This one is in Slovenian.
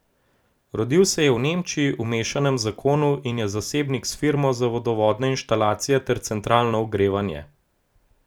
Rodil se je v Nemčiji, v mešanem zakonu, in je zasebnik s firmo za vodovodne inštalacije ter centralno ogrevanje.